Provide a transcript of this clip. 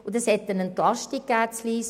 Daraus folgte eine Entlastung in Lyss.